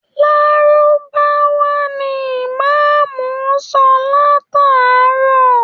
Lárúbáwá ni Ìmáàmù ń sọ látàárọ̀